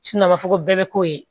a b'a fɔ ko bɛɛ bɛ k'o ye